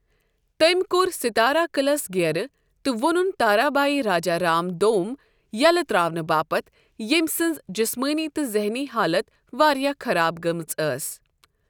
تٔمۍ کوٚر ستارہ قٕعلس گیرٕ تہٕ وونُن تارابھائی راجا رام دوم ییلہٕ تر٘اونہٕ باپت ، ییمۍ سٕنٛز جسمٲنی تہٕ ذہنی حالت واریاہ خراب گٔمٕژ ٲس ۔